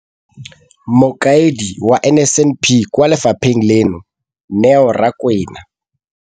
Mokaedi wa NSNP kwa lefapheng leno, Neo Rakwena.